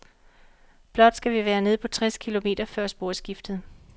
Blot skal vi være nede på tres kilometer før sporskiftet.